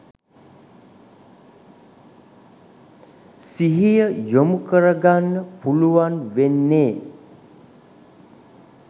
සිහිය යොමු කරගන්න පුළුවන් වෙන්නෙ.